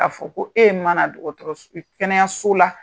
Ka fɔ ko e mana kɛnɛyaso la